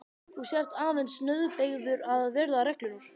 Þú sért aðeins nauðbeygður að virða reglurnar.